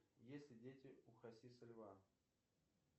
есть ли дети у хасиса льва